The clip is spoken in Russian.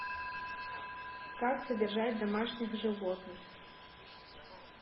как содержать домашних животных